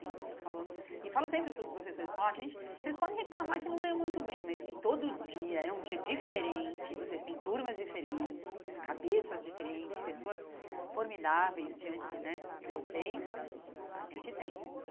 eu falo E falo sempre para os professores, falo, oh gente vocês podem reclamar que não ganham muito bem, mas que todo dia é um dia diferente, vocês têm turmas diferentes, cabeças diferentes, pessoas formidáveis diante né de vocês, a gente tem.